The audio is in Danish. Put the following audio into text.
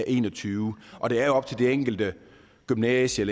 en og tyve og det er jo op til de enkelte gymnasier